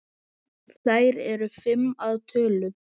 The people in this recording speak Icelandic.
Þær eru fimm að tölu.